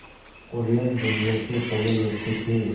कुरियन दुनिया के पहले व्यक्ति थे